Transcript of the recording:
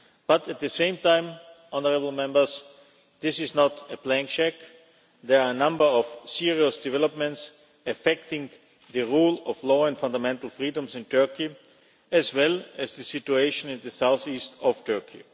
But at the same time this is not a blank cheque, there are number of serious developments affecting the rule of law and fundamental freedoms in Turkey as well as the situation in the southeast of Turkey.